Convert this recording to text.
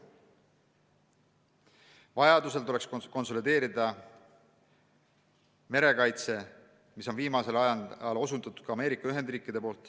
Vajaduse korral tuleks merekaitse konsolideerida, millele on viimasel ajal osutanud ka Ameerika Ühendriigid.